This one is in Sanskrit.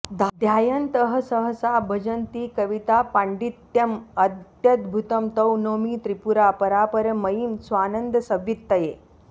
ध्यायन्तः सहसा भजन्ति कवितापाण्डित्यमत्यद्भुतं तां नौमि त्रिपुरां परापरमयीं स्वानन्दसंवित्तये